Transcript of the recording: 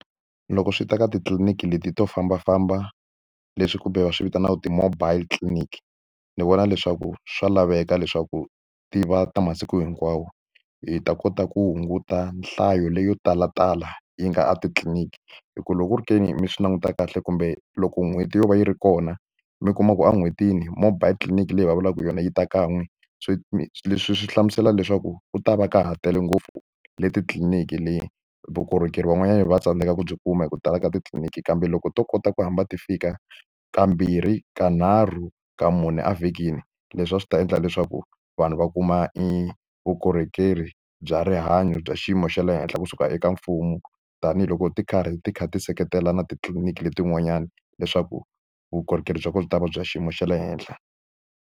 Loko swi ta ka titliliniki leti to fambafamba leswi kumbe va swi vitanaka ti-mobile clinic ni vona leswaku swa laveka leswaku ti va ta masiku hinkwawo hi ta kota ku hunguta nhlayo leyo talatala yi nga a titliliniki hi ku loko u ri ke ni mi swi languta kahle kumbe loko n'hweti yo va yi ri kona mi kuma ku en'hwetini mobile tliliniki leyi va vulaka hi yona yi ta kan'we swi mi leswi swi hlamusela leswaku u ta va ka ha tele ngopfu le titliliniki le vukorhokeri van'wanyana va tsandzeka ku byi kuma hi ku tala ka titliliniki kambe loko to kota ku hamba ti fika kambirhi ka nharhu ka mune a vhikini leswi a swi ta endla leswaku vanhu va kuma evukorhokeri bya rihanyo bya xiyimo xa le henhla kusuka eka mfumo tanihiloko ti karhi ti kha ti seketela na titliliniki letin'wanyana leswaku vukorhokeri bya kona byi ta va bya xiyimo xa le henhla.